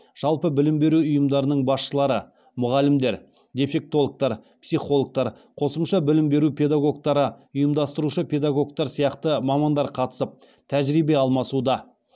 жалпы білім беру ұйымдарының басшылары мұғалімдер дефектологтар психологтар қосымша білім беру педагогтары ұйымдастырушы педагогтар сияқты мамандар қатысып тәжірибе алмасуда